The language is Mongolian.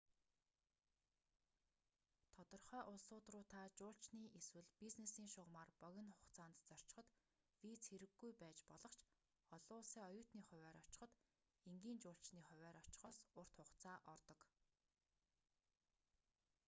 тодорхой улсууд руу та жуулчны эсвэл бизнесийн шугамаар богино хугацаанд зорчиход виз хэрэггүй байж болох ч олон улсын оюутны хувиар очиход энгийн жуулчны хувиар очихоос урт хугацаа ордог